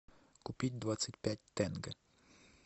купить двадцать пять тенге